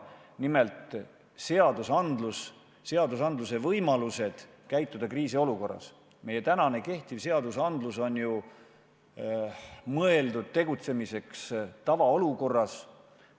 Nimelt, seadusandlus ja selle antavad võimalused käituda kriisiolukorras – meil täna kehtivad seadused on mõeldud tegutsemiseks tavaolukorras.